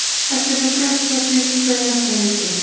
Ekki er þó greint frá því hvenær það yrði.